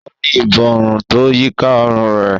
O ni Ìborùn tó yíká òrun rẹ